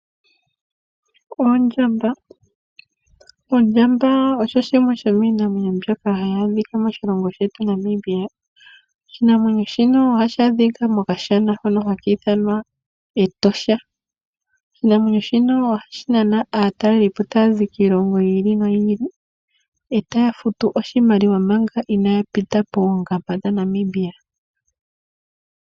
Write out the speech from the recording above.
Ondjamba osho shimwe shomiinamwenyo shoka hashi adhikaa moshilongo shetu Namibia . Oshinamwenyo shino ohashi adhika mokashana Etosha. Oshinamwenyo shino ohashi nana aatalelipo taya zi kiilongo yiili noyili, etaya futu oshimaliwa omanga inaaya pita poongamba .